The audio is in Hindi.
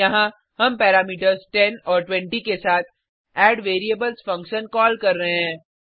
यहाँ हम पैरामीटर्स 10 और 20 के साथ एडवेरिएबल्स फंक्शन कॉल कर रहे हैं